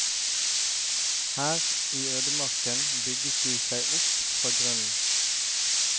Her i ødemarken bygget de seg opp fra grunnen.